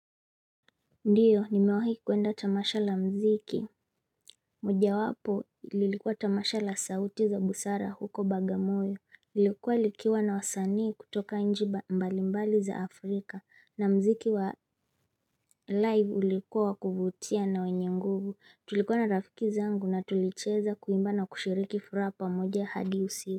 Ndiyo nimewahi kwenda tamasha la mziki moja wapo lilikuwa tamasha la sauti za busara huko bagamoyo lilikuwa lilikiwa na wasanii kutoka nji mbalimbali za Afrika na mziki wa live ulikua wa kuvutia na wenye nguvu Tulikuwa na rafiki zangu na tulicheza kuimba na kushiriki furaha pamoja hadi usi.